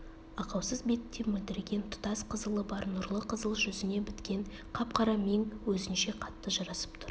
ақаусыз бетінде мөлдіреген тұтас қызылы бар нұрлы қызыл жүзіне біткен қап-қара мең өзінше қатты жарасып тұр